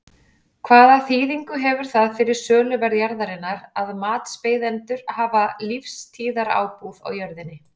Hvaða þýðingu hefur það fyrir söluverð jarðarinnar að matsbeiðendur hafa lífstíðarábúð á jörðinni?